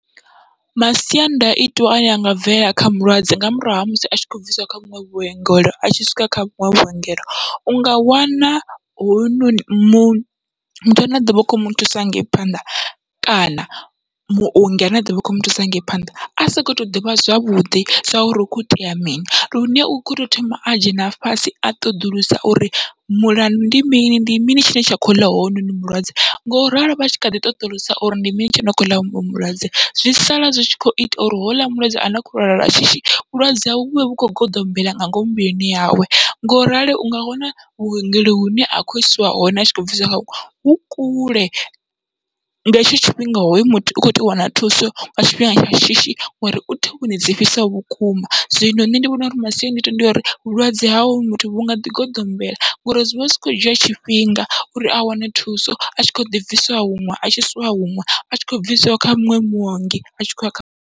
Masiandaitwa ane anga bvelela kha mulwadze nga murahu ha musi atshi khou bvisiwa kha vhuṅwe vhuongelo atshi swika kha vhuṅwe vhuongelo unga wana hoyunoni mu muthu ane a ḓovha u kho muthusa hanengei phanḓa kana muongi ane a ḓovha a kho muthusa hangei phanḓa, a soko to ḓivha zwavhuḓi sa uri hu kho itea mini lune uto thoma a dzhena fhasi a ṱoḓulusa uri mulandu ndi mini ndi mini tshine tsha kho ḽa hounoni mulwadze, ngoralo vha tshi kha ḓi ṱoḓulusa uri ndi mini tshine kho ḽa hounoni mulwadze, zwi sala zwi kho ita uri honouḽa mulwadze ane a kho lwala lwa shishi vhulwadze hawe vhuvhe vhu kho goḓombela nga ngomu muvhilini yawe. Ngorali unga wana vhuongelo hune a khou isiwa hone atshi khou bvisiwa hone vhu kule, nga hetsho tshifhinga hoyu muthu u kho tea u wana thuso nga tshifhinga tsha shishi ngori uthovhoni dzi fhisaho vhukuma, zwino nṋe ndi vhona uri masiandaitwa ndi uri vhulwadze hawe muthu vhunga ḓi goḓombela ngori zwivha zwi kho dzhia tshifhinga uri a wane thuso atshi kho ḓi bviswa huṅwe atshi swika huṅwe atshi kho bviswa kha muṅwe muongi atshi khou ya kha.